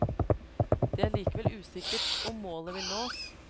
Det er likevel usikkert om målet vil nås.